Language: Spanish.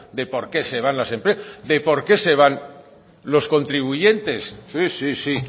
de por qué se van las empresas de por qué se van los contribuyentes sí